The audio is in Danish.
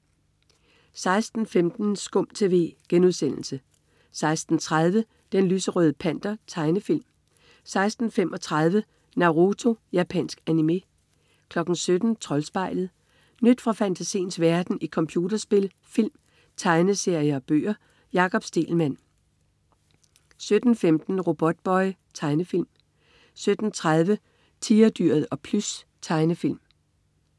16.15 SKUM TV* 16.30 Den lyserøde Panter. Tegnefilm 16.35 Naruto. Japansk animé 17.00 Troldspejlet. Nyt fra fantasiens verden i computerspil, film, tegneserier og bøger. Jakob Stegelmann 17.15 Robotboy. Tegnefilm 17.30 Tigerdyret og Plys. Tegnefilm